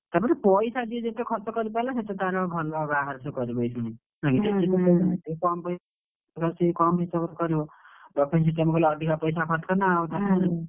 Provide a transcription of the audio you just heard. ତା ପରେ ପଇସା ଯିଏ ଯେତେ ଖର୍ଚ୍ଚ କରିପାରିଲା ସେତେ ତାର ଭଲ ବାହାଘର ସିଏ କରିବ ଏଇକ୍ଷିଣି, ତାର ସିଏ କମ୍ ହିସାବରେ କରିବ, buffet system କଲେ ଅଧିକ ପଇସା ଖର୍ଚ୍ଚ ନା,